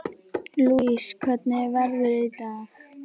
Lousie, hvernig er veðrið í dag?